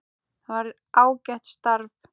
Það var ágætt starf.